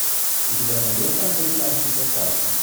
у тебя найдется американский папаша